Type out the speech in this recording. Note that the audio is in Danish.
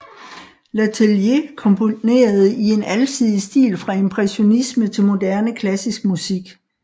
Letelier komponerede i en alsidig stil fra impressionisme til moderne klassisk musik